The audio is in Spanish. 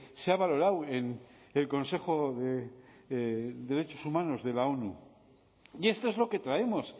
se ha valorado en el consejo de derechos humanos de la onu y esto es lo que traemos